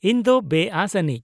ᱤᱧ ᱫᱚ ᱵᱮᱼᱟᱹᱥ ᱟᱹᱱᱤᱡ ᱾